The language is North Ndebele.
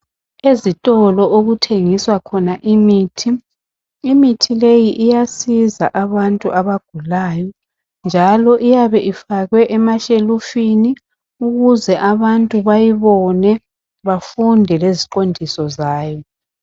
Ezitolo okuthengiswa khona imithi. Imithi leyi iyasiza abantu abagulayo njalo iyabe ifakwe emashelufini ukuze abantu bayibone bafunde leziqondiso zayo.